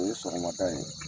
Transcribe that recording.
O ye sɔgɔmada ye.